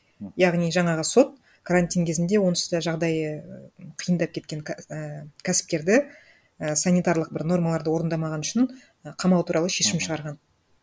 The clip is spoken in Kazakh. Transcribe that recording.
яғни жаңағы сот карантин кезінде онсыз да жағдайы і қиындап кеткен і кәсіпкерді і санитарлық бір нормаларды орындамағаны үшін қамау туралы шешім шығарған